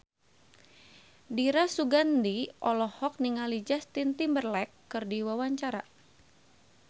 Dira Sugandi olohok ningali Justin Timberlake keur diwawancara